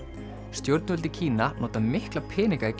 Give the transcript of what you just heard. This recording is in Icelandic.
stjórnvöld í Kína nota mikla peninga í